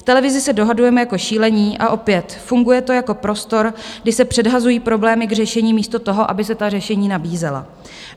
V televizi se dohadujeme jako šílení - a opět, funguje to jako prostor, kde se předhazují problémy k řešení místo toho, aby se ta řešení nabízela.